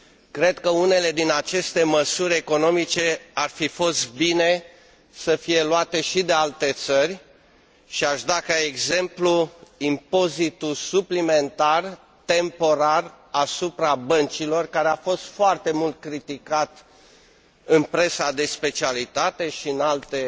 Cred că unele din aceste măsuri economice ar fi fost bine să fie luate și de alte țări, și aș da ca exemplu impozitul suplimentar temporar asupra băncilor, care a fost foarte mult criticat în presa de specialitate și în alte